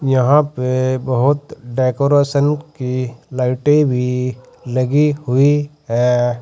यहां पे बहुत डेकोरेशन की लाइटें भी लगी हुई हैं।